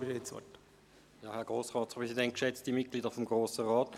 – Herr Staatsschreiber, Sie haben das Wort.